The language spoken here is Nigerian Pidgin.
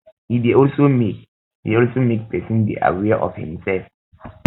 e de also make de also make persin de aware of im self